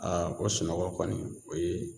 o sunɔgɔ kɔni o ye